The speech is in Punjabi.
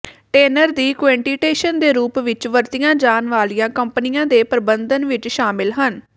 ਟੈਨਰ ਦੀ ਕੁਇੰਟੈਂਟੇਸ਼ਨ ਦੇ ਰੂਪ ਵਿਚ ਵਰਤੀਆਂ ਜਾਣ ਵਾਲੀਆਂ ਕੰਪਨੀਆਂ ਦੇ ਪ੍ਰਬੰਧਨ ਵਿਚ ਸ਼ਾਮਲ ਹਨ